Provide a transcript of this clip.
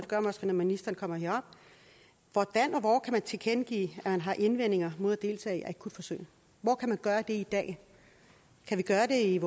jeg måske når ministeren kommer herop hvordan og hvor man kan tilkendegive at man har indvendinger mod at deltage i akutforsøg hvor kan man gøre det i dag kan vi gøre det